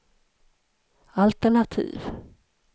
altenativ